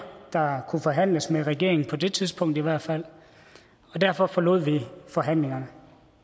der kunne forhandles med regeringen på det tidspunkt i hvert fald og derfor forlod vi forhandlingerne